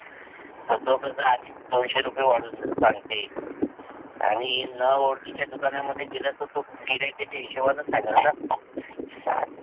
त तो कस आधीच दोनशे रुपये वाढून सांगते आनी न ओळखीच्या दुकाना मध्ये गेल त तो गिराहिकचा हिसोबाने सांगेल ना.